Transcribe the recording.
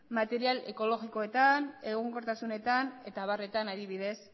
material ekologikoetan egonkortasunetan eta abarretan adibidez